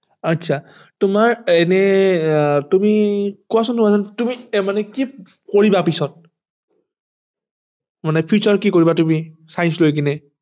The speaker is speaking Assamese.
আচ্ছা তোমাৰ এনে আহ তুমি কোৱাছোন আহ তুমি মানে কি কৰিবা পিছত মানে future কি কৰিবা তুমি science লৈ কেনে